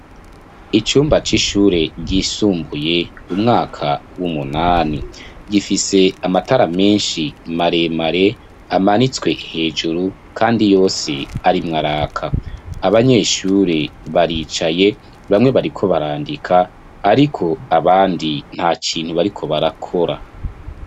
Icumba c'ishure, ryisumbuye, umwaka w'umunani; gifise amatara menshi, maremare, amanitswe hejuru, kandi yose arimwo araka; abanyeshure baricaye, bamwe, bariko barandika, ariko abandi, nta kintu bariko barakora.